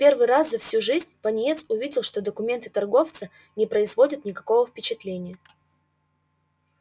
в первый раз за всю жизнь пониетс увидел что документы торговца не производят никакого впечатления